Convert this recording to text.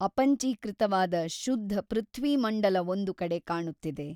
ಅಪಂಚೀಕೃತವಾದ ಶುದ್ಧ ಪೃಥ್ವೀಮಂಡಲವೊಂದು ಕಡೆ ಕಾಣುತ್ತಿದೆ.